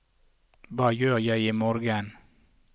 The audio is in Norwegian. hva gjør jeg imorgen